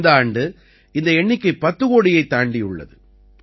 இந்த ஆண்டு இந்த எண்ணிக்கை 10 கோடியைத் தாண்டியுள்ளது